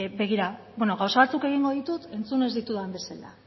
begira beno gauza batzuk egingo ditut entzun ez ditudan bezala